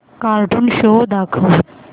cartoon show दाखव